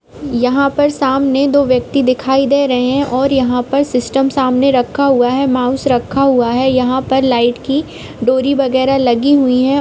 यहां पर सामने दो व्यक्ति दिखाई दे रहें हैं और यहां पर सिस्टम सामने रखा हुआ है माउस रखा हुआ है यहां पर लाइट की डोरी वगेरा लगी हुई है।